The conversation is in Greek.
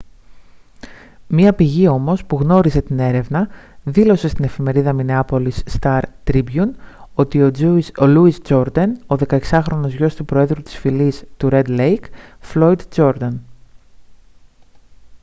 μια πηγή όμως που γνώριζε την έρευνα δήλωσε στην εφημερίδα μινεάπολις σταρ τρίμπιουν ότι ήταν ο louis jourdain ο 16χρονος γιος του προέδρου της φυλής του ρεντ λέικ floyd jourdain